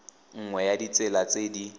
nngwe ya ditsela tse di